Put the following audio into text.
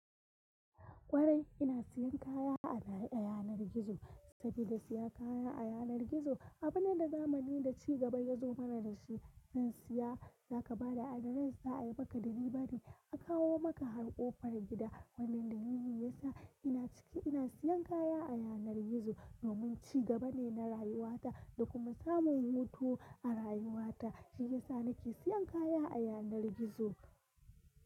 Kwarai ina siyan kaya a baya a yanar gizo, saboda siya kaya a yanar gizo abune da zamani da ci gaba ya zo mana da shi. Zan siya, za ka bada adana sa ayi baka ɗibiɓari a kawo maka har ƙofar gida, wannan da lili yasa ina ciki ina siyan kaya a yanar gizo. Domin ci gaba ne na rayuwata da kuma samun hutu a rayuwata, shi yasa nake siyan kaya a yanar gizo.